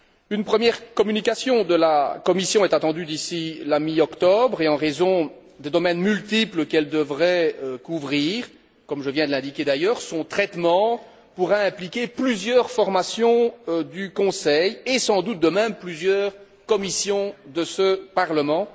Une première communication de la Commission est attendue d'ici la mi octobre et, en raison des multiples domaines qu'elle devrait couvrir comme je viens de l'indiquer d'ailleurs son traitement pourra impliquer plusieurs formations du Conseil et, sans doute de même, plusieurs commissions de ce Parlement.